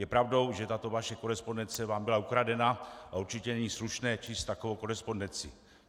Je pravdou, že tato vaše korespondence vám byla ukradena, a určitě není slušné číst takovou korespondenci.